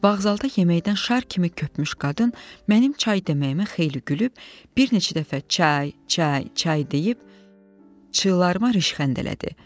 Bağzalda yeməkdən şar kimi köpmüş qadın mənim çay dəməyimə xeyli gülüb, bir neçə dəfə çay, çay, çay deyib çığlarıma rışxəndələdi.